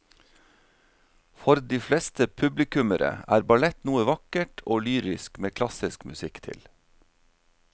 For de fleste publikummere er ballett noe vakkert og lyrisk med klassisk musikk til.